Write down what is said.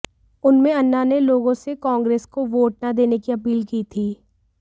उसमें अन्ना ने लोगों से कांग्रेस को वोट न देने की अपील की थी